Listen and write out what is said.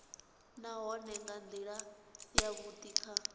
nahone nga ndila yavhudi kha